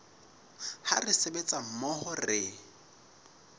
ha re sebetsa mmoho re